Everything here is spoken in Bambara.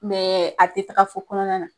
a te taga fɔ kɔnɔna na.